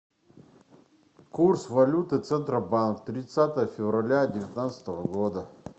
курс валюты центробанк тридцатое февраля девятнадцатого года